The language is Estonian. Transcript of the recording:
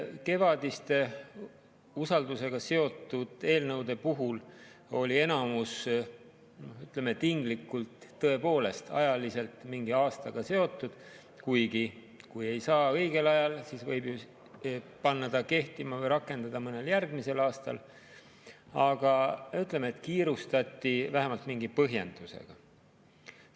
Kevadistest usaldusega seotud eelnõudest oli enamik tõepoolest ajaliselt mingi aastaga seotud – kuigi, kui ei saa õigel ajal, siis võib ju panna kehtima või rakendada mõnel järgmisel aastal –, seega siis kiirustati vähemalt mingi põhjendusega.